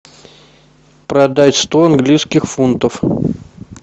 продать сто английских фунтов